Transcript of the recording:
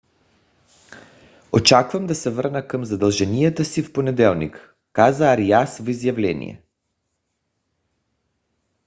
очаквам да се върна към задълженията си в понеделник каза ариас в изявление